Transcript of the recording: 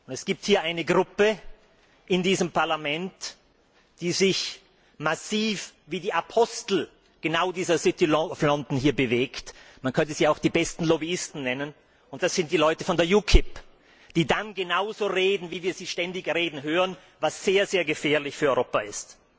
Es gibt eine Gruppe in diesem Parlament, die sich massiv wie die Apostel dieser bewegt man könnte sie auch die besten Lobbyisten nennen und das sind die Leute von der UKIP, die dann genauso reden, wie wir sie ständig reden hören, was sehr gefährlich für Europa ist.